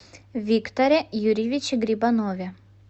викторе юрьевиче грибанове